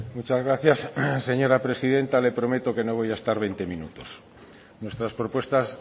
muchas gracias señora presidenta le prometo que no voy a estar veinte minutos nuestras propuestas